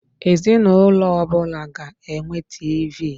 Ezinụlọ ọbụla ga enwe TV.